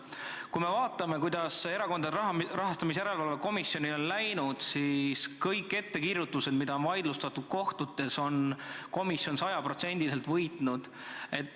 Kui me vaatame, kuidas Erakondade Rahastamise Järelevalve Komisjonil on läinud, siis kõik ettekirjutused, mida on kohtutes vaidlustatud, on komisjon sajaprotsendiliselt võitnud.